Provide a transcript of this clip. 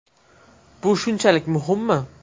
Bu shunchalik muhimmi?.